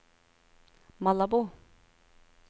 Malabo